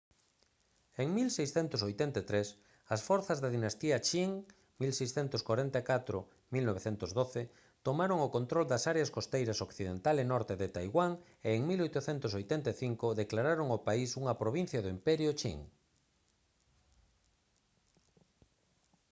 en 1683 as forzas da dinastía qing 1644-1912 tomaron o control das áreas costeiras occidental e norte de taiwán e en 1885 declararon o país unha provincia do imperio qing